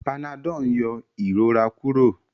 Panadol n yọ ìrora Kúrò